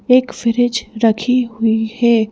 एक फ्रिज रखी हुई है।